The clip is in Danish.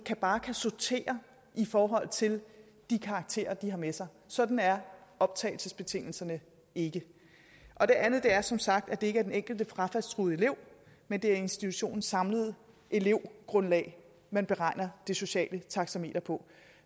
bare kan sortere i forhold til de karakterer de har med sig sådan er optagelsesbetingelserne ikke og det andet er som sagt at det ikke er den enkelte frafaldstruede elev men institutionens samlede elevgrundlag man beregner det sociale taxameter på